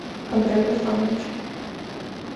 андрею руслановичу